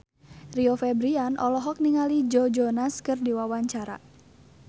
Rio Febrian olohok ningali Joe Jonas keur diwawancara